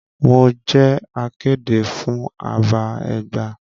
Mo jẹ akéde fún àbá Ẹgba.